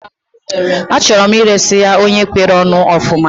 Achọrọ m iresi ya onye kwere onu ofuma